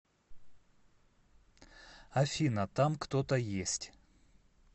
афина там кто то есть